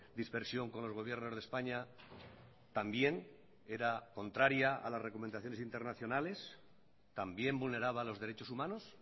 dispersión con los gobiernos de españa también era contraria a las recomendaciones internacionales también vulneraba los derechos humanos